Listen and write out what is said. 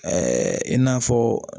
i n'a fɔ